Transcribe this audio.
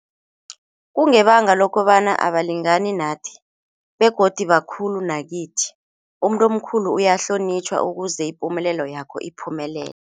Kungebanga lokobana abalingani nathi begodu bakhulu nakithi, umuntu omkhulu uyahlonitjhwa ukuze ipumelelo yakho iphumelele.